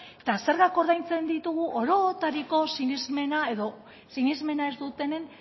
eta zergak ordaintzen ditugu orotariko sinesmena edo sinesmena ez dutenen